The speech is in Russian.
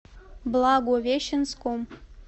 благовещенском